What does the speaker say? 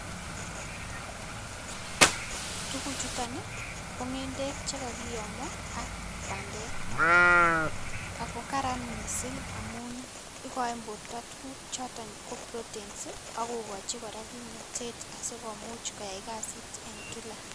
Tukuk chutok nii ko ngendek chekokiyomo ak pandek ako karan missing amun ikoin borto tukuk choton ko proteins ak kokochi koraa kimnotet asikomuch koyai kasit en kila.